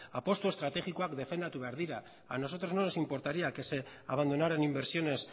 apustu estrategikoak defendatu behar dira a nosotros no nos importaría que se abandonaran inversiones